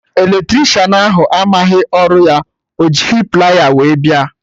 Eletricịanahụ amaghị ọrụ ya, ọ jighị plier wee bịa